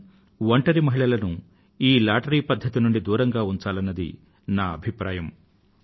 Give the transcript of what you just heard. కానీ ఒంటరి మహిళలను ఈ లాటరీ పద్ధతి నుండి దూరంగా ఉంచాలన్నది నా అభిప్రాయం